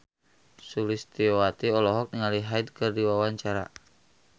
Sulistyowati olohok ningali Hyde keur diwawancara